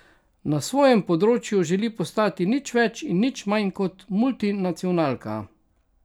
Na svojem področju želi postati nič več in nič manj kot multinacionalka.